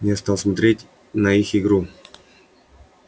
я стал смотреть на их игру